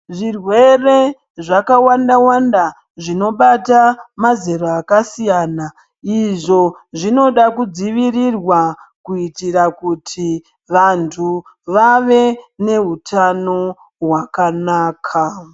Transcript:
Zvirwere zvakawanda wanda zvinobata mazera akasiyana. Izvo zvinoda kudzivirirwa kuitira kuti vantu vave neutano hwakanaka.